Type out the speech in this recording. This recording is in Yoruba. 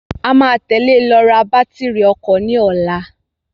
A máa tẹ̀lẹ lọ ra bàtírí ọkọ̀ ní ọ̀la.